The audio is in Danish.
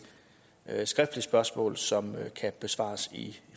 skriftligt spørgsmål som kan besvares i